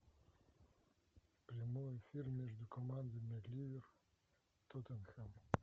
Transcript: прямой эфир между командами ливер тоттенхэм